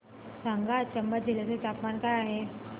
सांगा आज चंबा जिल्ह्याचे तापमान काय आहे